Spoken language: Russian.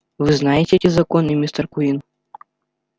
вы знаете эти законы мистер куинн